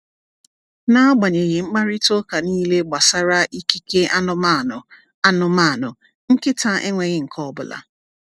N’agbanyeghị mkparịta ụka niile gbasara ikike anụmanụ, anụmanụ, nkịta enweghị nke ọ bụla.